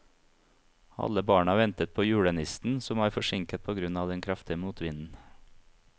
Alle barna ventet på julenissen, som var forsinket på grunn av den kraftige motvinden.